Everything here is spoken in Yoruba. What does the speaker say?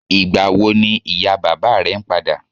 Ìgbà wo ni ìyá bàbá rẹ̀ ń padà?